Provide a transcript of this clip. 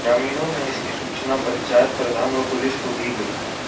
ग्रामीणों ने इसकी सूचना पंचायत प्रधान व पुलिस को दी गई